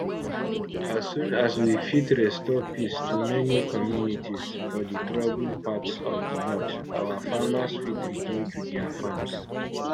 as soon as we fit restore peace to many communities for di troubled parts of di north our farmers fit return to dia farms